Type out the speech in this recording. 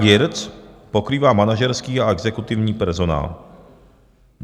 AGIRC pokrývá manažerský a exekutivní personál.